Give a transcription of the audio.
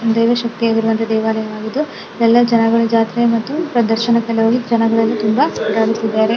ದೇವಶಕ್ತಿ ಆಗಿರುವಂತಹ ದೇವಾಲಯವಾಗಿದ್ದು ಇಲ್ಲೆಲ್ಲಾ ಜನಗಳು ಜಾತ್ರೆ ಮತ್ತು ಪ್ರದರ್ಶನ ಜನಗಳೆಲ್ಲ ತುಂಬಾ .]